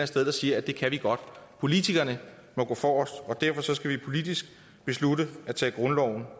sted der siger at det kan de godt politikerne må gå forrest og derfor skal vi politisk beslutte at tage grundloven